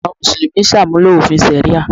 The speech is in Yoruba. Àwọn Mùsùlùmí ṣàmúlò òfin ṣàríà